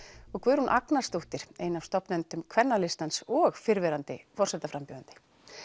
og Guðrún Agnarssdóttir ein af stofnendum kvennalistans og fyrrverandi forsetaframbjóðandi